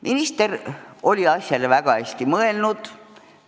Minister oli asja väga hästi läbi mõelnud.